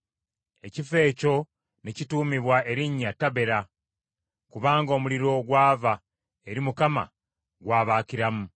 Ekifo ekyo ne kituumibwa erinnya Tabera, kubanga omuliro ogwava eri Mukama gwabaakiramu.